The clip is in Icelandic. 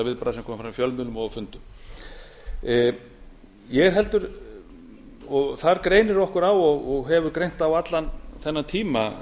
viðbragða sem komu fram í fjölmiðlum og á fundum ég er heldur og þar greinir okkur á og hefur greint á allan þennan tíma